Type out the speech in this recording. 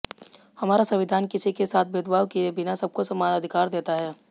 हमारा संविधान किसी के साथ भेदभाव किए बिना सबको समान अधिकार देता है